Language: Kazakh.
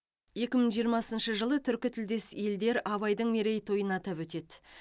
екі мың жиырмасыншы жылы түркі тілдес елдер абайдың мерейтойын атап өтеді